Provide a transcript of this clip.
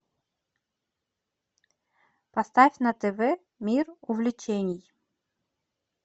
поставь на тв мир увлечений